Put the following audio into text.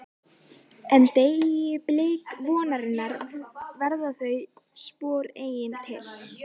En- deyi blik vonarinnar verða þau spor eigi til.